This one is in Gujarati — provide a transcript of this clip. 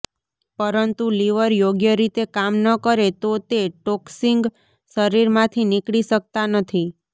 પંરતુ લિવર યોગ્ય રીતે કામ ન કરે તો તે ટોક્સિંગ શરીરમાંથી નીકળી શક્તા નથી